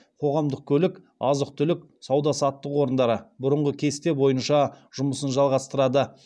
қоғамдық көлік азық түлік сауда саттық орындары бұрынғы кесте бойынша жұмысын жалғастырады